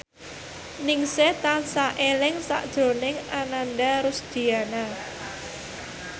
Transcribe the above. Ningsih tansah eling sakjroning Ananda Rusdiana